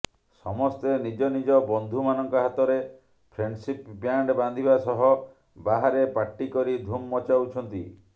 ସମସ୍ତେ ନିଜନିଜ ବନ୍ଧୁମାନଙ୍କ ହାତରେ ଫ୍ରେଣ୍ଡସିପ୍ ବ୍ୟାଣ୍ଡ୍ ବାନ୍ଧିବା ସହ ବାହାରେ ପାର୍ଟି କରି ଧୁମ୍ ମଚାଉଛନ୍ତି